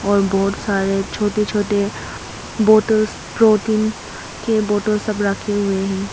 और बहुत सारे छोटे छोटे बॉटल्स प्रोटीन के बोतल सब रखे हुए हैं।